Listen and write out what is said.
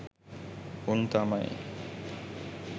උන් තමයි